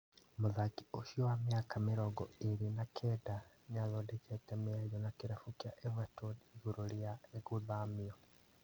Mũthaki ũcio wa ũkũrũ wa mĩaka mĩrongo ĩrĩ na kenda, nĩathondekete mĩario na kĩrabu kĩa Everton igũrũ rĩa gũthamio